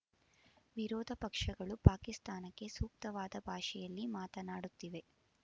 ವಿರೋಧ ಪಕ್ಷಗಳು ಪಾಕಿಸ್ತಾನಕ್ಕೆ ಸೂಕ್ತವಾದ ಭಾಷೆಯಲ್ಲಿ ಮಾತನಾಡುತ್ತಿವೆ